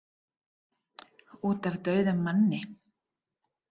Út af dauðum manni.